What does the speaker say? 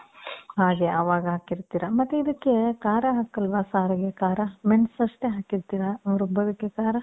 ಅದೆ. ಅವಾಗ್ ಹಾಕಿರ್ತೀರ. ಮತ್ತೆ ಇದಕ್ಕೆ ಖಾರ ಹಾಕಲ್ವಾ? ಸಾರಿಗೆ ಖಾರ. ಮೆಣಸು ಅಷ್ಟೇ ಹಾಕಿರ್ತೀರ ರುಬ್ಬೋದಕ್ಕೆ. ಖಾರ?